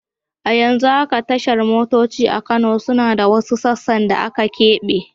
A yanzu haka tashar motoci a Kano suna da wasu sassan da aka keɓe.